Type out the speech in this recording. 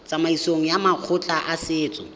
tsamaisong ya makgotla a setso